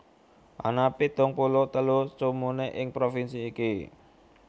Ana pitung puluh telu comune ing provinsi iki